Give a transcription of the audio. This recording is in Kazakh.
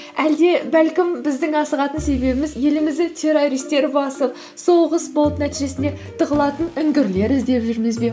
әлде бәлкім біздің асығатын себебіміз елімізді террористтер басып соғыс болып нәтижесінде тығылатын үңгірлер іздеп жүрміз бе